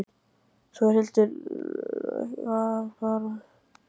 Þórhildur Þorkelsdóttir: Þannig að þetta verður hörð barátta?